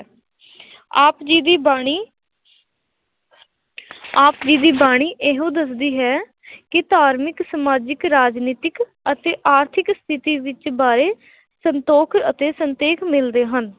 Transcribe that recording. ਆਪ ਜੀ ਦੀ ਬਾਣੀ ਆਪ ਜੀ ਦੀ ਬਾਣੀ ਇਹੋ ਦੱਸਦੀ ਹੈ ਕਿ ਧਾਰਮਿਕ, ਸਮਾਜਿਕ, ਰਾਜਨੀਤਿਕ ਅਤੇ ਆਰਥਿਕ ਸਥਿੱਤੀ ਵਿੱਚ ਬਾਰੇ ਸੰਤੋਖ ਅਤੇ ਸੰਤੇਖ ਮਿਲਦੇ ਹਨ